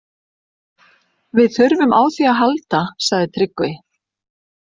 Við þurfum á því að halda, sagði Tryggvi.